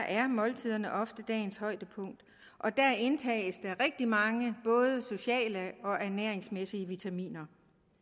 er måltiderne ofte dagens højdepunkt og der indtages der rigtig mange både sociale og ernæringsmæssige vitaminer